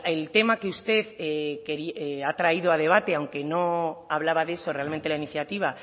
el tema que usted ha traído a debate aunque no hablaba de eso realmente la iniciativa